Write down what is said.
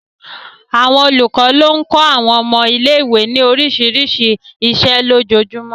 Àwọn olùkọ́ ló ń kọ́ àwọn ọmọ ilé ìwé ní oríṣiríṣi iṣẹ́ lójoojúmọ́